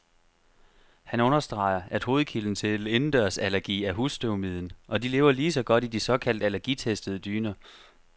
Han understreger, at hovedkilden til indendørsallergi er husstøvmiden, og de lever lige så godt i de såkaldt allergitestede dyner.